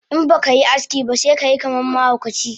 Inbakai aski ba sekayi kaman mahaukaci